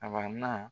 Aba